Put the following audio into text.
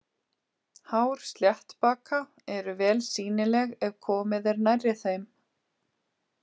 Hár sléttbaka eru vel sýnileg ef komið er nærri þeim.